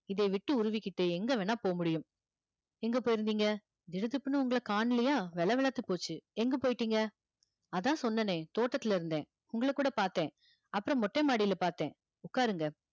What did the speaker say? இதை விட்டு உருவிக்கிட்டு எங்க வேணா போக முடியும் எங்க போயிருந்தீங்க திடுதிப்புன்னு உங்களை காணலையா வெல வெலத்து போச்சு எங்க போய்ட்டீங்க அதான் சொன்னேனே தோட்டத்துல இருந்தேன் உங்கள கூட பார்த்தேன் அப்புறம் மொட்டை மாடியில பார்த்தேன் உட்காருங்க